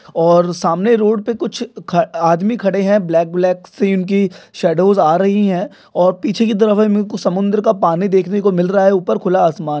और सामने रोड पे कुछ ख आदमी खड़े है ब्लॅक- ब्लॅक सी उनकी शॅडोवस आ रही है और पीछे की तरफ हमे कुछ समुंदर का पानी देखने को मिल रहा है। ऊपर खुला आसमान--